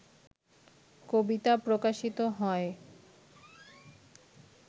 কবিতা প্রকাশিত হয়